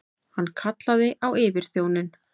Hann kallaði á yfirþjóninn.